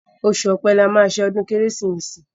Oṣù ọ̀pẹ̀ la máa ṣe ọdún kérésì.